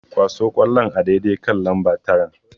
Kwaso ƙwallon a daidai kan namba taran.